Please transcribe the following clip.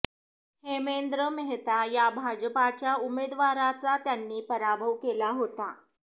हेमेंद्र मेहता या भाजपाच्या उमेदवाराचा त्यांनी पराभव केला होता